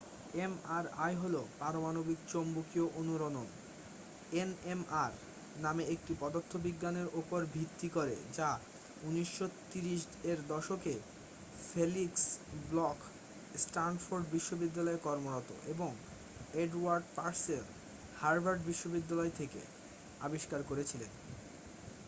MRI হল পারমাণবিক চৌম্বকীয় অনুরণন এনএমআর নামে একটি পদার্থবিজ্ঞানের উপর ভিত্তি করে যা ১৯৩০ এর দশকে ফেলিক্স ব্লখ স্ট্যানফোর্ড বিশ্ববিদ্যালয়ে কর্মরত এবং এডওয়ার্ড পার্সেল হার্ভার্ড বিশ্ববিদ্যালয় থেকে আবিষ্কার করেছিলেন।